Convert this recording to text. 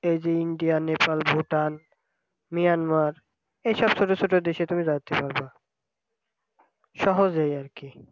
এইযে India Nepal Bhutan Myanmar এইসব প্রদেশে তুমি যাইতে পারবা সহজেই আরকি।